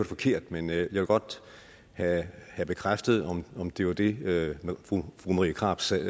forkert men jeg vil godt have bekræftet om det var det fru marie krarup sagde